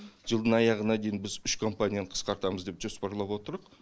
жылдың аяғына дейін біз үш компанияны қысқартамыз деп жоспарлап отырмыз